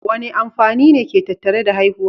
Wane amfani ne ke tattare da haihuwa?